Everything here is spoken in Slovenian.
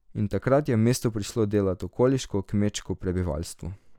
In takrat je v mesto prišlo delat okoliško kmečko prebivalstvo.